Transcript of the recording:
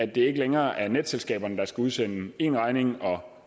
det ikke længere er netselskaberne der skal udsende en regning og